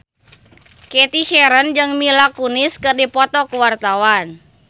Cathy Sharon jeung Mila Kunis keur dipoto ku wartawan